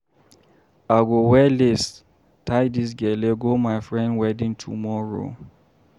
I go wear lace, tie dis gele go my friend wedding tomorrow.